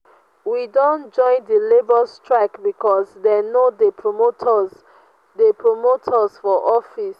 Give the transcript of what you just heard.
we don join di labour strike because dey no dey promote us dey promote us for office.